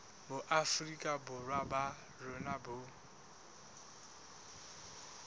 boafrika borwa ba rona bo